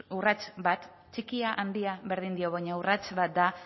urrats bat txikia handia berdin dio baina urrats bat da